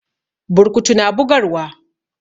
Burkutu na bugarwa.